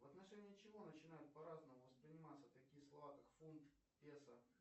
в отношении чего начинают по разному восприниматься такие слова как фунт веса